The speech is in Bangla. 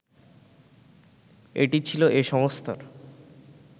এটি ছিল এ সংস্থার